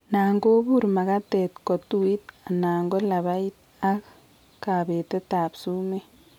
Nan kobure magatet ko tuitu anan ko labait ak kabetet ab sumeek